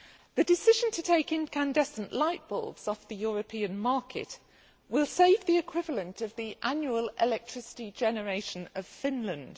The decision to take incandescent light bulbs off the European market will save the equivalent of the annual electricity generation of Finland.